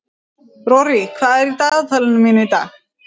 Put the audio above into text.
Rorí, hvað er í dagatalinu mínu í dag?